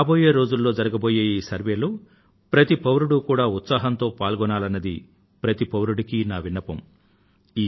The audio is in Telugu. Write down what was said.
రాబోయే రోజుల్లో జరగబోయే ఈ సర్వేక్షణలో ప్రతి పౌరుడు ఉత్సాహంతో పాల్గొనాలన్నది ప్రతి పౌరుడికీ నా విన్నపం